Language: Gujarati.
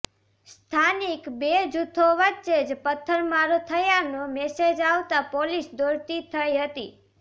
સ્થાનિક બે જુથો વચ્ચે જ પથ્થરમારો થયાનો મેસેજ આવતા પોલીસ દોડતી થઇ હતી